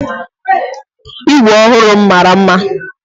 Igwe ọhụrụ m mara mma.